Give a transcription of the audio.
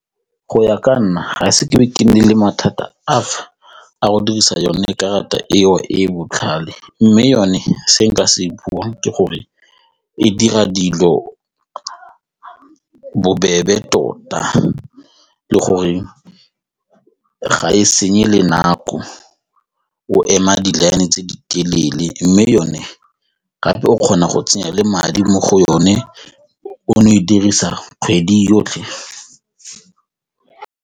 Go ya ka nna ga ise ke be ke nne le mathata ape a go dirisa yone karata eo e e botlhale mme yone se nka se e pula ke gore e dira dilo bobebe tota le gore ga e senye le nako o ema di-line tse di telele mme yone gape o kgona go tsenya le madi mo go yone o no e dirisa kgwedi yotlhe.